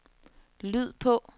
lyd på